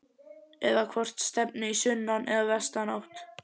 Eða hvort stefni í sunnan- eða vestanátt?